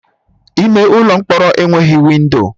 Ime ụlọ mkpọrọ enweghị windo